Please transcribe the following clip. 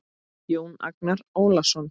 Jón Agnar Ólason